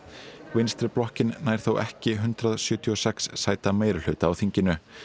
vinstri blokkin nær þó ekki hundrað sjötíu og sex sæta meirihluta á þinginu